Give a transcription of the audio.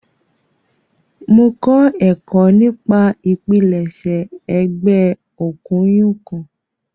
Mo kọ ẹkọ nipa ipilẹṣẹ ẹgbẹ okuynkun.